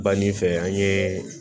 Banni fɛ an ye